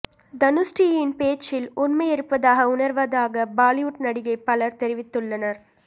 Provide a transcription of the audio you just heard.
தனுஸ்ரீயின் பேச்சில் உண்மை இருப்பதாக உணர்வதாக பாலிவுட் நடிகைகள் பலர் தெரிவித்துள்ளனர்